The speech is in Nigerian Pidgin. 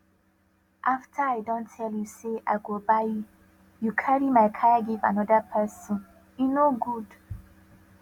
after i don tell you say i go buy you carry my kaya give another person e no good